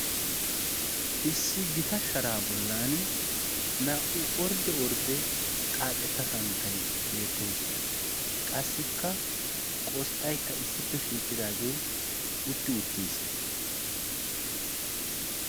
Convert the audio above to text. Issi gita sharaa bollan naa"u ordde ordde xaaxetta santtai beettees. qassikka qosxxaykka issippe shiiqqidaagee utti uttiis.